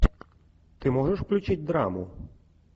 ты можешь включить драму